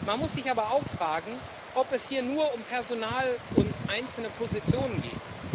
Man muss sich aber auch fragen, ob es hier nur um Personal und einzelne Positionen geht.